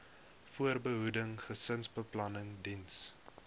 voorbehoeding gesinsbeplanning diens